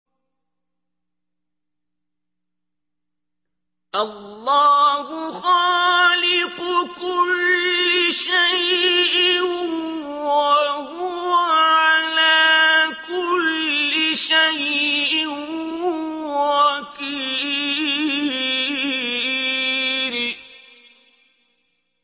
اللَّهُ خَالِقُ كُلِّ شَيْءٍ ۖ وَهُوَ عَلَىٰ كُلِّ شَيْءٍ وَكِيلٌ